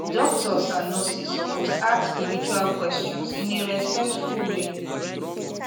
doctors and nurses suppose ask spiritual questions in a respectful way